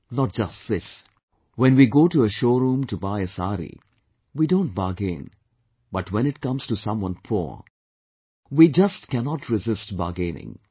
Not just this, when we go to a showroom to buy a saree, we don't bargain, but when it comes to someone poor, we just cannot resist bargaining